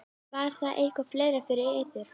Var það eitthvað fleira fyrir yður?